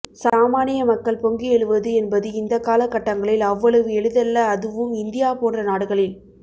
சாமானிய மக்கள் பொங்கி எழுவது என்பது இந்த கால கட்டங்களில் அவ்வளவு எளிதல்ல அதுவும் இந்தியா போன்ற நாடுகளில்